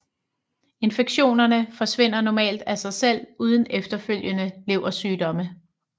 Infektionerne forsvinder normalt af sig selv uden efterfølgende leversygdomme